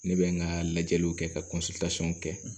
Ne bɛ n ka lajɛliw kɛ ka kɛ